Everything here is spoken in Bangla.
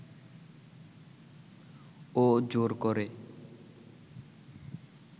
ও জোর করে